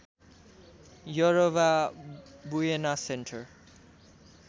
यरबा Buena centre